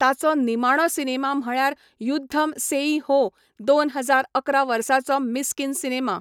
ताचो निमाणो सिनेमा म्हळ्यार युद्धम सेई हो दोन हजार अकरा वर्साचो मिस्किन सिनेमा.